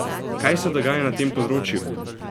Kaj se dogaja na tem področju?